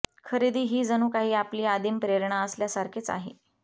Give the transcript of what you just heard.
खरेदी ही जणू काही आपली आदिम प्रेरणा असल्यासारखेच आहे